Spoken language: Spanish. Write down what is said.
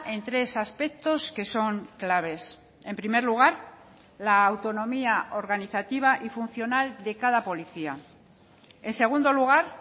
en tres aspectos que son claves en primer lugar la autonomía organizativa y funcional de cada policía en segundo lugar